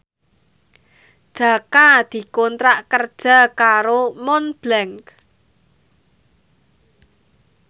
Jaka dikontrak kerja karo Montblanc